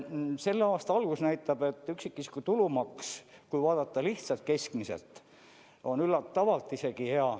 Selle aasta algus näitab, et üksikisiku tulumaks, kui vaadata lihtsalt keskmiselt, on isegi üllatavalt hea.